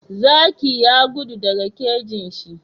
Zaki ya gudu daka kejinshi